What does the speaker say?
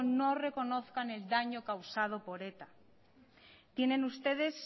no reconozcan el daño causado por eta tienen ustedes